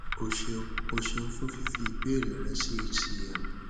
o ṣeun o ṣeun fun fifi ibeere rẹ si hcm